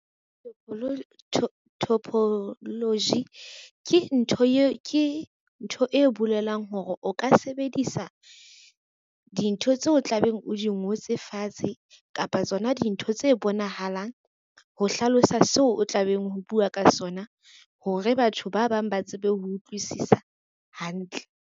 Topology ke ntho e bolelang hore o ka sebedisa dintho tseo tla beng hodimo ngotse fatshe kapa tsona dintho tse bonahalang, ho hlalosa seo o tlabeng ho bua ka sona hore batho ba bang ba tsebe ho utlwisisa hantle.